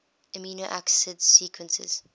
amino acid sequences